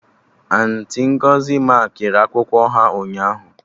Auntị Ngọzi makịrị akwụkwọ ha ụnyaahụ